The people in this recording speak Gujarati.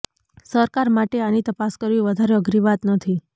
સરકાર માટે આની તપાસ કરવી વધારે અઘરી વાત નથી